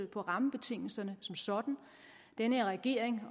på rammebetingelserne som sådan den her regering